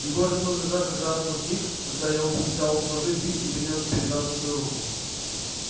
егор открыл глаза как раз в тот миг когда я взял у совы бинт и принялся перевязывать свою руку